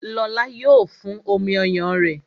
Lóla yo fún omi ọyàn rẹ